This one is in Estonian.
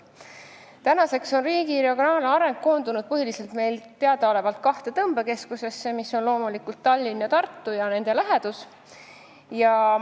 Meile teadaolevalt on riigi regionaalareng koondunud põhiliselt kahte tõmbekeskusesse, mis on loomulikult Tallinn ja Tartu ning nende lähedased piirkonnad.